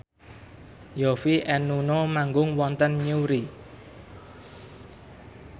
Yovie and Nuno manggung wonten Newry